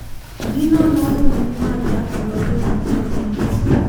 Ginono rumbi mag yako lope mag jopiny.